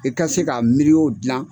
I ka se k'a miriyo dilan